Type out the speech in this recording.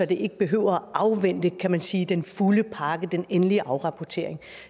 det ikke behøver at afvente kan man sige den fulde pakke den endelige afrapportering